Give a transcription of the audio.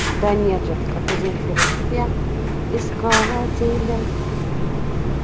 да нет же это как у земфиры я искала тебя